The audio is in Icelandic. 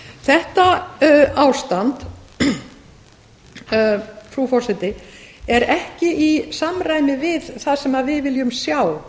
þetta ástand frú forseti er ekki í samræmi við það sem við viljum sjá